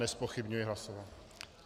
Nezpochybňuji hlasování.